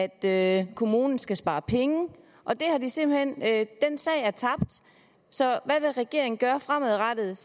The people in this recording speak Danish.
at kommunen skal spare penge den sag er tabt så hvad vil regeringen gøre fremadrettet